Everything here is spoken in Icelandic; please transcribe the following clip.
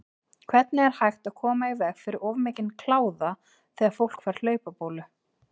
Hvernig er hægt að koma í veg fyrir of mikinn kláða þegar fólk fær hlaupabólu?